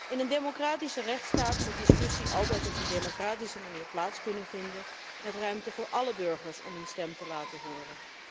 In een democratische rechtsstaat moet discussie altijd op een democratische manier kunnen plaatsvinden, met ruimte voor alle burgers om hun stem te laten horen.